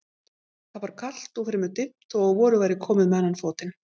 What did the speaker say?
Það var kalt og fremur dimmt þó að vorið væri komið með annan fótinn.